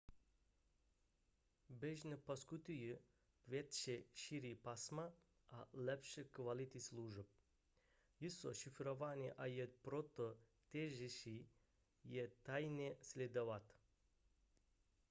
běžně poskytují větší šíři pásma a lepší kvalitu služeb jsou šifrované a je proto těžší je tajně sledovat